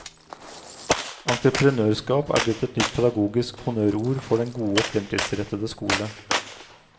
Entreprenørskap er blitt et nytt pedagogisk honnørord for den gode og fremtidsrettede skole.